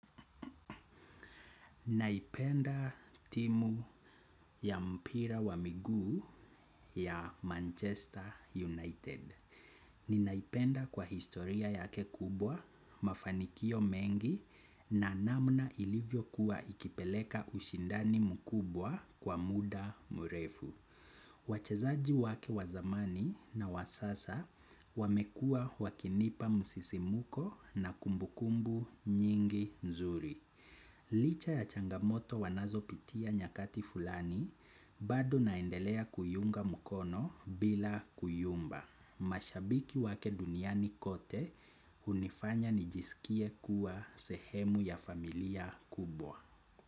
Naipenda timu ya mpira wa miguu ya Manchester United. Ninaipenda kwa historia yake kubwa mafanikio mengi na namna ilivyokuwa ikipeleka ushindani mkubwa kwa muda mrefu. Wachezaji wake wazamani na wasasa wamekua wakinipa msisimuko na kumbukumbu nyingi nzuri. Licha ya changamoto wanazo pitia nyakati fulani, bado naendelea kuiunga mkono bila kuyumba. Mashabiki wake duniani kote, unifanya nijisikie kuwa sehemu ya familia kubwa.